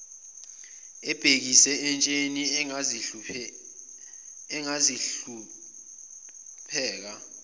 ebhekise entsheni angizuhlupheka